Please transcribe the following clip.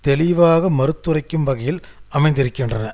தெளிவாக மறுத்துரைக்கும் வகையில் அமைந்திருக்கின்றன